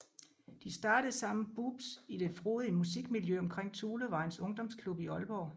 De startede sammen Boobs i det frodige musikmiljø omkring Thulevejens Ungdomsklub i Aalborg